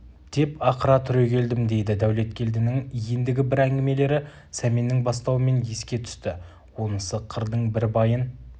деп ақыра түрегелдім дейді дәулеткелдінің ендігі бір әңгімелері сәменнің бастауымен еске түсті онысы қырдың бір байын